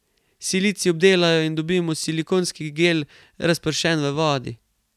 Silicij obdelajo in dobimo silikonski gel, razpršen v vodi.